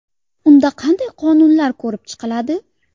Unda qanday qonunlar ko‘rib chiqiladi?.